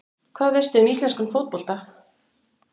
Hvað veistu um íslenskan fótbolta?